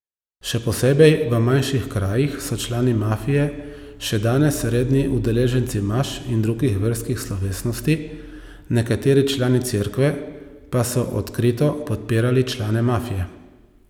Še posebej v manjših krajih so člani mafije še danes redni udeleženci maš in drugih verskih slovesnosti, nekateri člani Cerkve pa so odkrito podpirali člane mafije.